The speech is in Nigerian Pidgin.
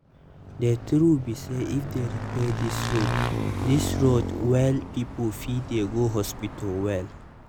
the truth be say if they repair this road this road well people fit dey go hospital well